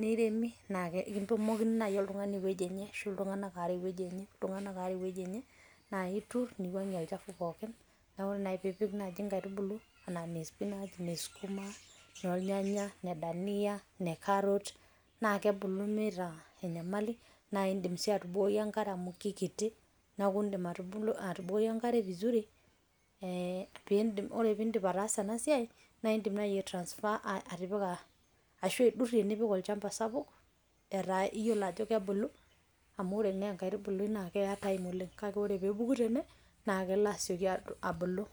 neiremi, naa ketumokini naaji oltungani ewueji enye, ashu iltunganak aare ewueji enye, naa itur niwuang'ie olchafu pookin, ore pee ipik naaji inkaitubulu anaa ine spinach, ine skuma, inoornyanya,,inedania, ine carrot naa kebulu meeta enyamali, naa idim sii atubukoki enkare amu kikiti, neeku idim atubukoki enkare vizuri, ee pee idim, ore pee idim naaji ataasa ena siai, naa idim naaji ai transfer atipika ashu aidurie, nipik olchampa sapuk, etaa iyiolo ajo kebulu, amu ore naa enkaitubului naa keya time oleng, kake ore pee epuku tene naa kelo asioki abulu.